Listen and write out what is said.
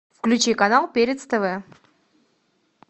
включи канал перец тв